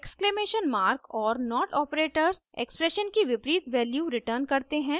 ! exclamation mark और not operators expression की विपरीत वैल्यू रेतुरें करते है